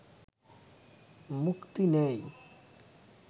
মুক্তি নেই'